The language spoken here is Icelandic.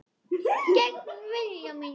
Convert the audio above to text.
Gegn vilja mínum.